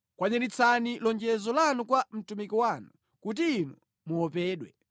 Kwaniritsani lonjezo lanu kwa mtumiki wanu, kuti Inu muopedwe.